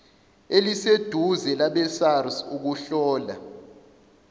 eliseduze labesars ukuhlola